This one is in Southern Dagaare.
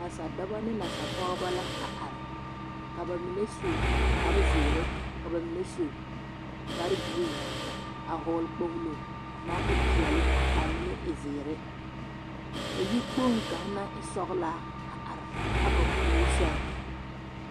Nasadɔbɔ ne nasapɔgebɔ la a are ka bamine su kpare zeere ka bamine su kpare giriin a hɔɔle kpogilo naŋ e peɛle k'a mine e zeere ka yikpoŋ kaŋa naŋ e sɔgelaa a are a ba puori sɛŋ.